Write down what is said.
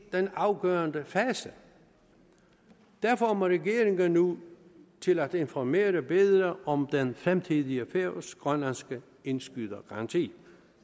den afgørende fase derfor må regeringen nu til at informere bedre om den fremtidige færøsk grønlandske indskydergaranti